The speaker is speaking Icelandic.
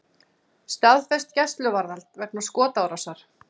Staðfest gæsluvarðhald vegna skotárásar